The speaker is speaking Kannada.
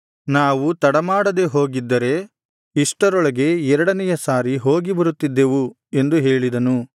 ನಾವು ತಡಮಾಡದೆ ಹೋಗಿದ್ದರೆ ಇಷ್ಟರೊಳಗೆ ಎರಡನೆಯ ಸಾರಿ ಹೋಗಿ ಬರುತ್ತಿದ್ದೆವು ಎಂದು ಹೇಳಿದನು